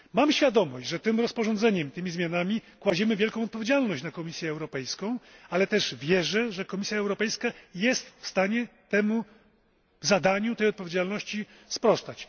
Mam świadomość, że tym rozporządzeniem, tymi zmianami, kładziemy wielką odpowiedzialność na Komisję Europejską, ale też wierzę, że Komisja Europejska jest w stanie temu zadaniu, tej odpowiedzialności, sprostać.